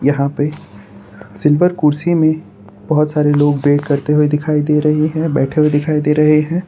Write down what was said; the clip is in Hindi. यहां पे सिल्वर कुर्सी में बहोत सारे लोग वेट करते हुए दिखाई दे रहे हैं बैठे हुए दिखाई दे रहे हैं।